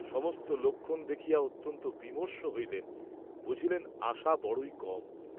সমস্ত লক্ষণ দেখিয়া অত্যন্ত বিমর্ষ হইলেন, বুঝিলেন আশা বড়ই কম।